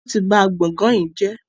wón tí bá gboôgan yí jé.